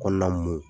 Kɔnɔna mun